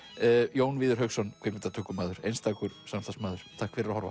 Jón Víðir Hauksson kvikmyndatökumaður einstakur samstarfsmaður takk fyrir að horfa